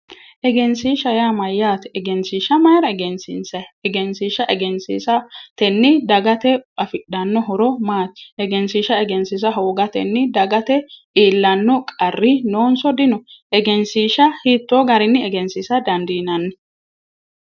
egensiishsha yaa mayyaate egensiishsha mayira egensiinsayi? egensiishsha egesiishshatenni dagate afidhanno horo maati? egensiishsha egensiisa hoogatenni dagate iillanno qarri noonso dino? egensiishsha hiittoo garinni egensiisa dandiinanni?